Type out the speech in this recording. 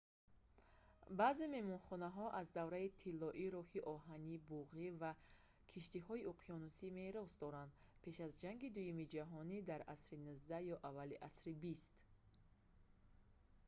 баъзе меҳмонхонаҳо аз давраи тиллоии роҳи оҳани буғӣ ва киштиҳои уқёнусӣ мерос доранд пеш аз ҷанги дуюми ҷаҳонӣ дар асри 19 ё аввали асри 20